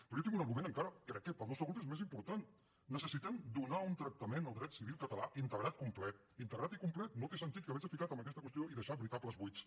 però jo tinc un argument encara que crec que per al nostre grup és més important necessitem donar un tractament al dret civil català integrat i complet integrat i complet no té sentit haverse ficat en aquesta qüestió i deixar veritables buits